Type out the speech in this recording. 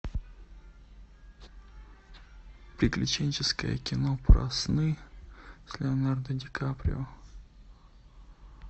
приключенческое кино про сны с леонардо ди каприо